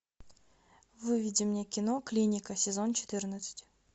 выведи мне кино клиника сезон четырнадцать